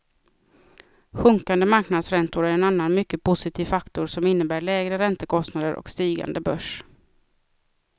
Sjunkande marknadsräntor är en annan mycket positiv faktor som innebär lägre räntekostnader och stigande börs.